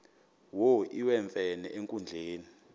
wo iwemfene enkundleni